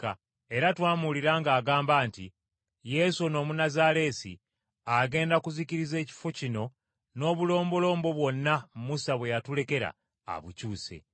Era twamuwulira ng’agamba nti Yesu ono Omunnazaaleesi agenda kuzikiriza ekifo kino n’obulombolombo bwonna Musa bwe yatulekera abukyuse.”